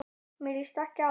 Mér líst ekki á þetta.